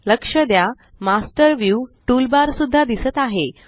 लक्ष द्या master view toolbar सुद्धा दिसत आहे